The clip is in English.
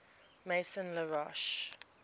maison la roche